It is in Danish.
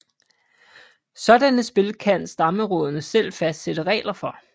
Sådanne spil kan stammeråderne selv fastsætte regler for